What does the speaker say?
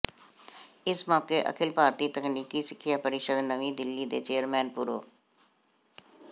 ਇਸ ਮੌਕੇ ਅਖਿਲ ਭਾਰਤੀ ਤਕਨੀਕੀ ਸਿੱਖਿਆ ਪ੍ਰਰੀਸ਼ਦ ਨਵੀਂ ਦਿੱਲੀ ਦੇ ਚੇਅਰਮੈਨ ਪ੍ਰਰੋ